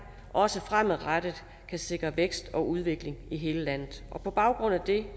også fremadrettet kan sikre vækst og udvikling i hele landet og på baggrund af det